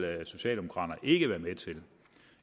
at socialdemokraterne ikke vil være med til det